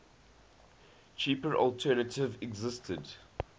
cheaper alternative existed